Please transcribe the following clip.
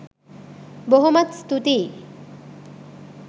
බොහොමත් ස්තූතියි.